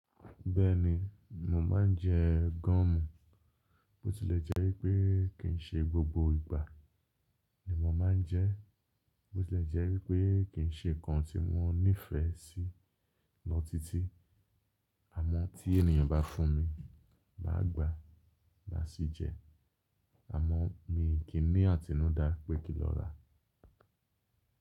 Bẹ́ẹ̀ni, mo máà ń jẹ gúúmù. Bó ti lè jẹ́ wí pé kì í ṣe gbogbo ìgbà ni mo máa ń jẹ́, bó ti lè jẹ́ wí pé kì í ṣe nǹkan tí mo nífẹ̀ẹ́ sí lọ tití, àmọ́ tí ènìyàn bá fún mi, mà á gbà, mà á sí jẹ ẹ́. Àmọ́ mi kì í ní àtínúdá pé kí ń lọ rà.